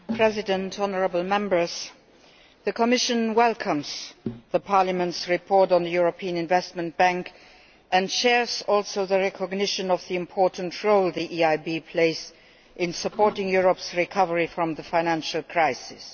Mr President, honourable Members, the Commission welcomes Parliament's report on the European Investment Bank and shares the recognition of the important role the EIB plays in supporting Europe's recovery from the financial crisis.